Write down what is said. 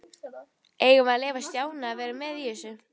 Eigum við að leyfa Stjána að vera með í þessu?